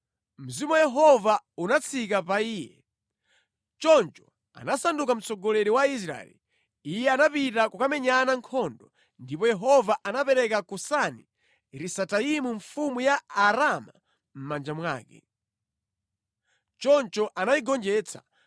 Mzimu wa Yehova unatsika pa iye, choncho anasanduka mtsogoleri wa Israeli. Iye anapita kukamenya nkhondo, ndipo Yehova anapereka Kusani-Risataimu mfumu ya Aaramu mʼmanja mwake. Choncho anayigonjetsa.